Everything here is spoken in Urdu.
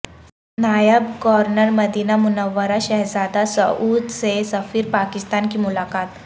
نائب گورنر مدینہ منورہ شہزادہ سعود سے سفیر پاکستان کی ملاقات